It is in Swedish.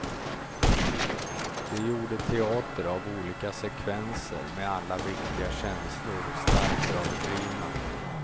De gjorde teater av olika sekvenser med alla viktiga känslor starkt överdrivna.